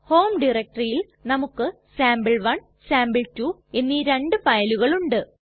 home ഡയറക്ടറിയിൽ നമുക്ക് sample 1 sample 2 എന്നീ രണ്ടു ഫയലുകൾ ഉണ്ട്